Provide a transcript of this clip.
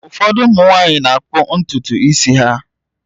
Ụfọdụ ụmụ nwanyị na-akpọ ntutu isi ha.